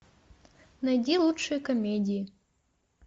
найди лучшие комедии